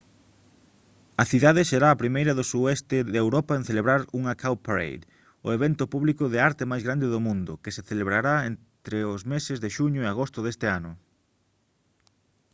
a cidade será a primeira do sueste de europa en celebrar unha cowparade o evento público de arte máis grande do mundo que se celebrará entres os meses de xuño e agosto este ano